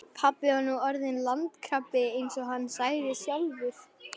Pabbi var nú orðinn landkrabbi eins og hann sagði sjálfur.